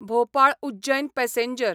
Bhopal Ujjain passenger